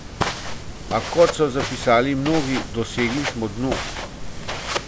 A, kot so zapisali mnogi, dosegli smo dno.